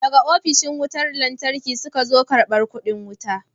Daga ofishin wutar lantarki suka zo karbar kudi wuta.